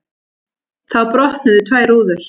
Þá brotnuðu tvær rúður.